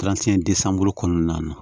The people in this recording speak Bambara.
kɔnɔna na